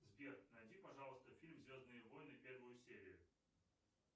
сбер найди пожалуйста фильм звездные войны первую серию